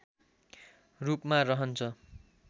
रूपमा रहन्छ